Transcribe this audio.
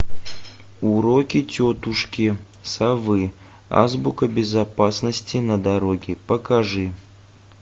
уроки тетушки совы азбука безопасности на дороге покажи